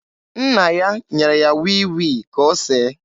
Nna ya nyere ya wii wii ka o see.